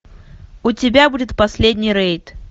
у тебя будет последний рейд